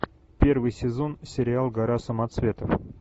первый сезон сериал гора самоцветов